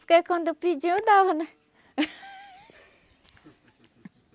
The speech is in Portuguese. Porque quando pedia eu dava, né?